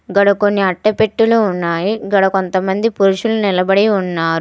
గాడ కొన్ని అట్టపెట్టెలు ఉన్నాయి. గాడ కొంతమంది పురుషులు నిలబడి ఉన్నారు.